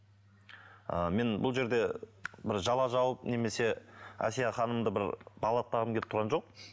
ы мен бұл жерде бір жала жауып немесе әсия ханымды бір балғаттағым келіп тұрған жоқ